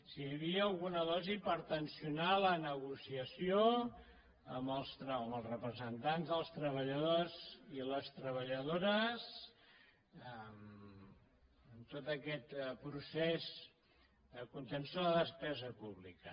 si hi havia alguna dosi per tensionar la negociació amb els representants dels treballadors i les treballadores en tot aquest procés de contenció de la despesa pública